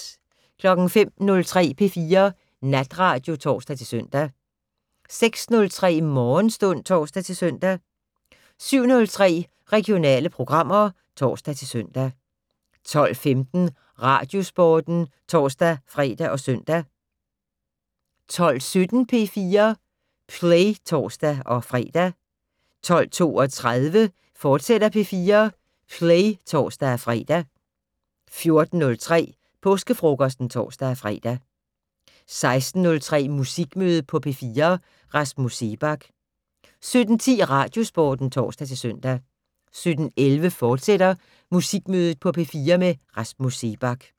05:03: P4 Natradio (tor-søn) 06:03: Morgenstund (tor-søn) 07:03: Regionale programmer (tor-søn) 12:15: Radiosporten (tor-fre og søn) 12:17: P4 Play (tor-fre) 12:32: P4 Play, fortsat (tor-fre) 14:03: Påskefrokosten (tor-fre) 16:03: Musikmøde på P4: Rasmus Seebach 17:10: Radiosporten (tor-søn) 17:11: Musikmøde på P4: Rasmus Seebach, fortsat